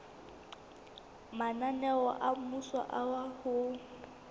mananeo a mmuso a ho